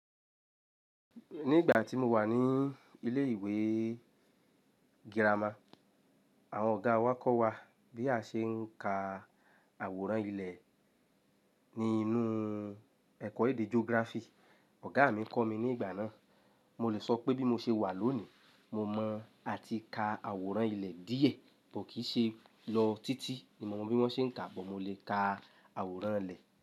Ní ìgbà tí mo wà ní ilé ìwé girama, àwọn ọ̀gá wá kọ́ wa bí a ṣe ń ka àwòrán ilẹ̀ ní inú ẹ̀kọ́ èdè geography. Ọ̀gá mi kọ́ mi ní ìgbà náà. Mo lè sọ pé bí mo ṣe wà lónìí, mo mọ́ a ti ka àwòrán ilẹ̀ díẹ̀, kọ̀ kì í ṣe lọ títí ni mo mọ bí wọ́n ṣe ń kà bọ̀ mo lè ka àwòrán ilẹ̀